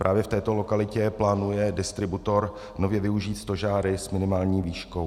Právě v této lokalitě plánuje distributor nově využít stožáry s minimální výškou.